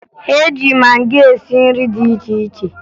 E ji magị esi nri dị iche iche